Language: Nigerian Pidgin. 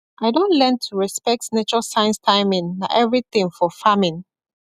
i don learn to respect nature signs timing na everything for farming